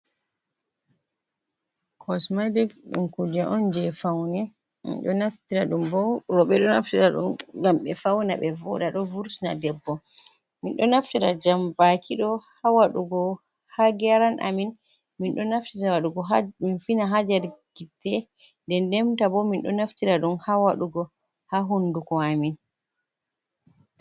Kosmetic ɗum kuje on je faune, roɓe ɗo naftira ɗum ngam ɓe fauna ɓe voɗa ɗo vurtina debbo. Min ɗo naftira jambaki ɗo ha waɗugo ha geran amin, min naftira waɗugo min fina ha nder gite denenta bo min ɗo naftira ɗum ha wadugo ha hunduko amin.